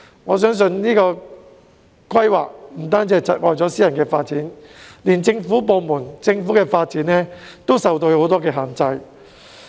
我認為這種規劃方式不僅窒礙私人發展，就連政府的發展也受到很多限制。